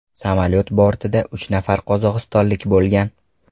Samolyot bortida uch nafar qozog‘istonlik bo‘lgan.